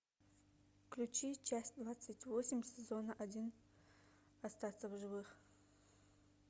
включи часть двадцать восемь сезона один остаться в живых